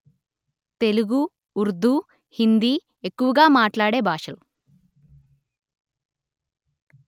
తెలుగు ఉర్దూ హిందీ ఎక్కువగా మాట్లాడే భాషలు